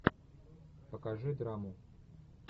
покажи драму